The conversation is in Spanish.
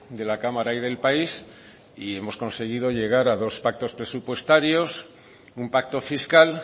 de la cámara y del país y hemos conseguido llegar a dos pactos presupuestarios un pacto fiscal